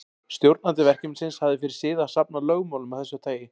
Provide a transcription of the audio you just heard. Stjórnandi verkefnisins hafði fyrir sið að safna lögmálum af þessu tagi.